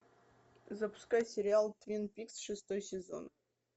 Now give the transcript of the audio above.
запускай сериал твин пикс шестой сезон